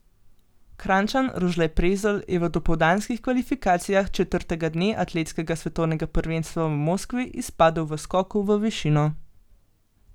Kranjčan Rožle Prezelj je v dopoldanskih kvalifikacijah četrtega dne atletskega svetovnega prvenstva v Moskvi izpadel v skoku v višino.